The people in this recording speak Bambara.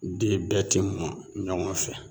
Den bɛɛ tɛ mɔ ɲɔgɔn fɛ